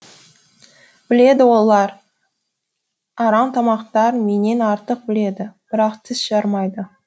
біледі олар арамтамақтар менен артық біледі бірақ тіс жармайды